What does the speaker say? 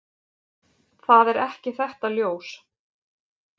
Það er ekki þetta ljós.